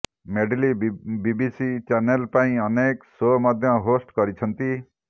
medley BBC channel ପାଇଁ ଅନେକ show ମଧ୍ୟ ହୋଷ୍ଟ୍ କରିଛନ୍ତି